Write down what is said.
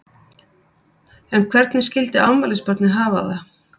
En hvernig skildi afmælisbarnið hafa það?